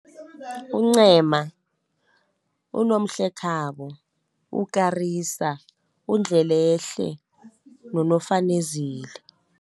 UNcema, uNomhlekhabo, uKarisa, uNdlelehle, noFanezile.